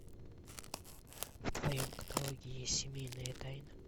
в твоем каталоге есть семейная тайна